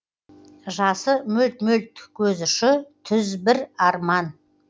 жасы мөлт мөлт көз ұшы түз бір арман